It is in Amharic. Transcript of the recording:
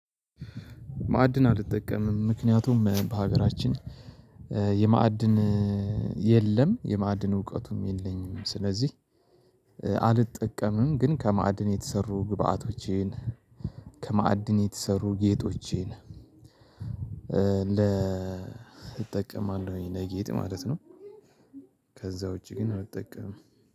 ማዕድን አልጠቀምም ምክንያቱም በሀገራችን የማዕድን የለም የማዕድን እውቀቱም የለኝም ስለዚህ አልጠቀምም። ግን ከማዕድን የተሰሩ ግብአቶቼን ከማዕድን የተሰሩ ጌጦቼን እንደ እጠቀማለሁኝ ለጌጥ ማለት ነው። ከዛ ውጪ ግን አልጠቀምም።